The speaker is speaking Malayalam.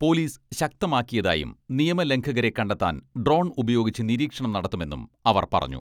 പോലീസ് ശക്തമാക്കിയതായും നിയമലംഘകരെ കണ്ടെത്താൻ ഡ്രോൺ ഉപയോഗിച്ച് നിരീക്ഷണം നടത്തുമെന്നും അവർ പറഞ്ഞു.